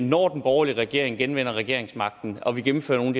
når den borgerlige regering genvinder regeringsmagten og vi gennemfører nogle